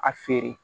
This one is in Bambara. A feere